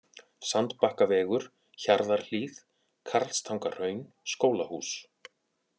Sandbakkavegur, Hjarðarhlíð, Karlstangahraun, Skólahús